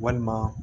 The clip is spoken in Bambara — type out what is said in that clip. Walima